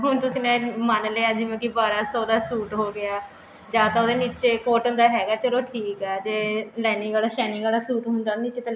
ਹੁਣ ਤੁਸੀਂ ਨੇ ਮਨ ਲਿਆ ਕਿ ਜਿਵੇਂ ਬਾਰਾਂ ਸੋ ਦਾ suit ਹੋ ਗਿਆ ਜਾ ਤਾਂ ਉਹਦੇ ਨਿੱਚੇ cotton ਦਾ ਹੈਗਾ ਚੱਲੋ ਠੀਕ ਐ ਤੇ lining ਆਲਾ shining ਆਲਾ suit ਹੁੰਦਾ ਨਹੀਂ ਤੇ